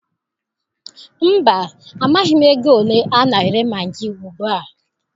Mba, amaghị m ego ole a na-ere magị ugbua.